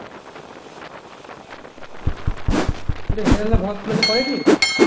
তো হিরালাল পরে নি